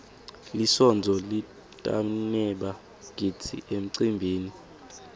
lisontfo litdbaneba gidzi emcimbini